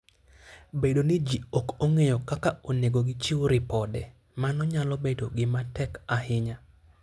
Bedo ni ji ok ong'eyo kaka onego gichiw ripode, mano nyalo bedo gima tek ahinya.